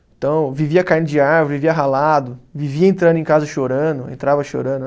Então, vivia caindo de árvore, vivia ralado, vivia entrando em casa chorando, entrava chorando.